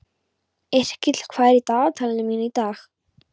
Yrkill, hvað er í dagatalinu mínu í dag?